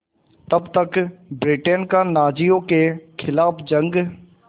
तब तक ब्रिटेन का नाज़ियों के ख़िलाफ़ जंग